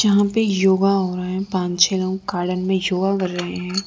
यहां पे योग हो रहा हैं पांच छः लोग गार्डन में योग कर रहे हैं।